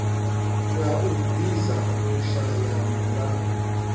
ya u ḓisa vhushaya mulalo